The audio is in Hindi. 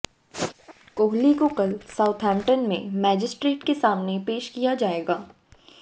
कोहली को कल साउथैम्पटन में मैजिस्ट्रेट के सामने पेश किया जाएगा